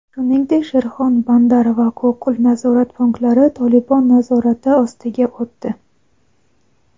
shuningdek Sherxon-Bandar va Kokul nazorat punktlari "Tolibon" nazorati ostiga o‘tdi.